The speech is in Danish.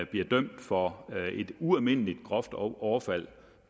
blev dømt for et ualmindelig groft overfald